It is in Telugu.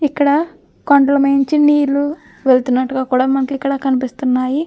ఇక్కడ కొండల మీద నుంచి నీరు వెళుతున్నట్టుగా కూడా మనకు ఇక్కడ కనిపిస్తున్నాయి.